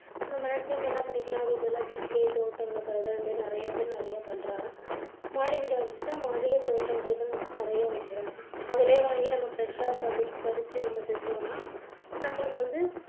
maximum என்ன பண்ணிக்கலாம் அதுக்கு பதிலா வீட்டுலேயே தோட்டம் வைக்கிறது அது மாதிரி நிறைய பேர் நிறைய பண்றாங்க. மாடி வீடா இருந்துச்சுன்னா மாடியிலேயே தோட்டம் வகைகள் நிறைய வைக்கிறார்கள் அதுலேயே வாங்கி நம்ப fresh சா படி~ பறிச்சு நம்ப செஞ்சோம்னா நம்மளுக்கு வந்து